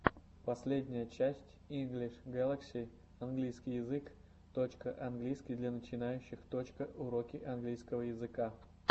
последняя часть инглиш галакси английский язык точка английский для начинающих точка уроки английского языка